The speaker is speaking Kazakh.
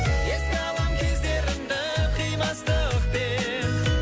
еске алам кездерімді қимастықпен